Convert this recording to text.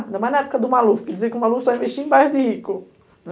Ainda mais na época do Malufi, porque diziam que o Malufi só ia investir em bairro de rico, né.